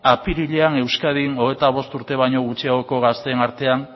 apirilean euskadin hogeita bost urte baino gutxiagoko gazteen artean